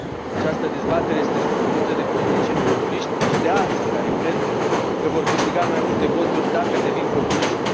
Această dezbatere este susținută de politicieni populiști și de alții, care cred că vor câștiga mai multe voturi, dacă devin populiști.